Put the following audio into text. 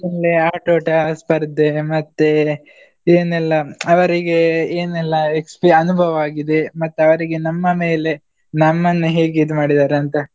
ಇಲ್ಲೇ ಆಟೋಟ ಸ್ಪರ್ದೆ, ಮತ್ತೇ ಏನೆಲ್ಲಾ ಅವರಿಗೆ ಏನೆಲ್ಲ expi~ ಅನುಭವ ಆಗಿದೆ ಮತ್ತೆ ಅವರಿಗೆ ನಮ್ಮ ಮೇಲೆ ನಮ್ಮನ್ನು ಹೇಗೆ ಇದು ಮಾಡಿದ್ದಾರೆ ಅಂತ.